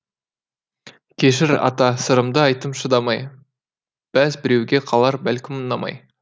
кешір ата сырымды айттым шыдамай бәз біреуге қалар бәлкім ұнамай